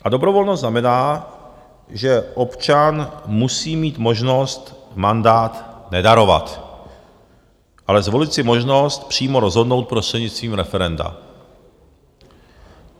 A dobrovolnost znamená, že občan musí mít možnost mandát nedarovat, ale zvolit si možnost přímo rozhodnout prostřednictvím referenda.